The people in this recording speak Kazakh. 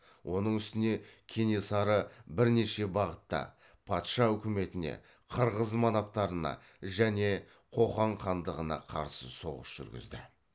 оның үстіне кенесары бірнеше бағытта патша үкіметіне қырғыз манаптарына және қоқан хандығына қарсы соғыс жүргізді